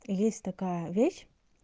есть такая вещь